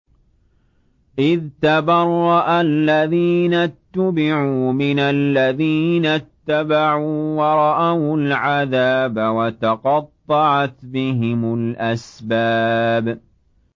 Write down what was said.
إِذْ تَبَرَّأَ الَّذِينَ اتُّبِعُوا مِنَ الَّذِينَ اتَّبَعُوا وَرَأَوُا الْعَذَابَ وَتَقَطَّعَتْ بِهِمُ الْأَسْبَابُ